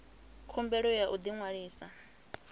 khumbelo ya u ḓi ṅwalisa